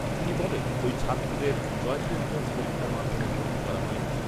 তিনি বলেন, ওই ছাত্রদের জয়েন্ট এন্ট্রান্স পরীক্ষার মাধ্যমে ভর্তি করা হয়নি